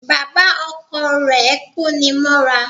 Bàbá Ọkọ rè kóni mọ́ra